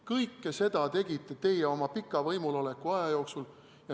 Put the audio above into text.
Kõike seda tegite teie oma pika võimuloleku aja jooksul.